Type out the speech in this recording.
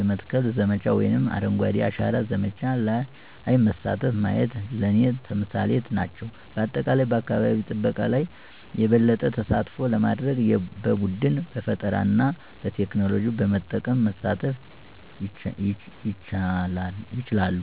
የመትከል ዘመቻ ወይም አረንጓዴ አሻራ ዘመቻ ለይ መሳተፉ ማየት ለኔ ተምሳሌት ናቸው። በአጠቃላይ በአካባቢ ጠበቃ ለይ የበለጠ ተሳትፎ ለማድርግ በቡድን፣ በፈጠራና በቴክኖሎጂ በመጠቀም መሳተፍ ይቻላሉ።